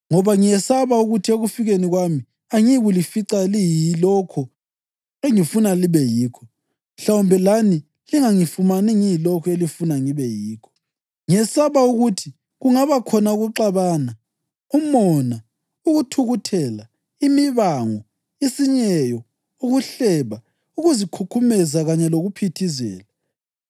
Ngoba ngiyesaba ukuthi ekufikeni kwami angiyikulifica liyilokho engifuna libe yikho, mhlawumbe lani lingangifumani ngiyilokho elifuna ngibe yikho. Ngiyesaba ukuthi kungaba khona ukuxabana, umona, ukuthukuthela, imibango, isinyeyo, ukuhleba, ukuzikhukhumeza kanye lokuphithizela.